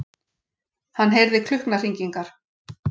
Hann heyrði klukknahringingar.